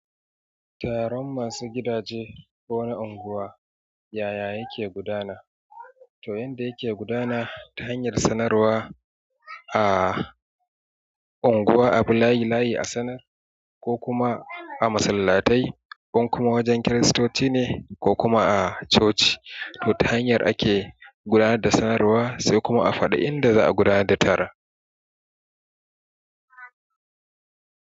Taron masu gidaje ko na unguwa, yaya yake gudana? To yanda yake gudana ta hanyar sanarwa a unguwa, abi layi layi, a sanar ko kuma a masallatai, in kuma wajen Kiristoci ne ko kuma a coci, to ta hanyar ake gudanar da sanarwa sai kuma a faɗi inda za a gudanar da taron.